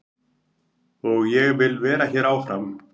Og ég vil vera hér áfram.